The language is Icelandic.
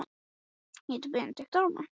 Við vorum ein á staðnum, umkomulaus.